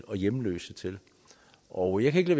og hjemløse til og jeg kan ikke